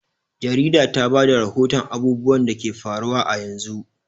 Jarida ta ba da rahoton abubuwan da ke faruwa a yanzu.